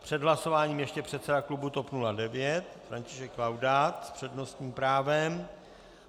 Před hlasováním ještě předseda klubu TOP 09 František Laudát s přednostním právem.